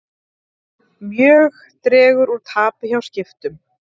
Mjög dregur úr tapi hjá Skiptum